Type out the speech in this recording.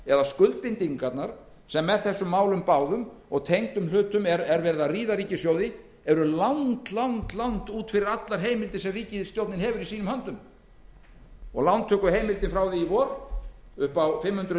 eða skuldbindingarnar sem með þessum málum báðum og tengdum hlutum ríða nú ríkissjóð á slig eru langt út fyrir allar heimildir sem ríkisstjórnin hefur í sínum höndum lántökuheimildir frá því í vor upp á fimm hundruð